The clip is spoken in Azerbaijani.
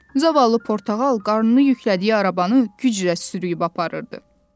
Zavallı Portağal qarnını yüklədiyi arabanı güclə sürüb aparırdı.